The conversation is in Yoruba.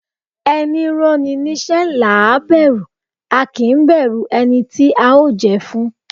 Ẹni rán ni níṣẹ́ làá bẹ̀rù, a kì í bẹ̀rù ẹni tí a ó jẹ fún